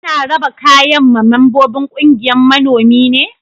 Ana raba kayan ma membobin ƙungiyan manomi ne?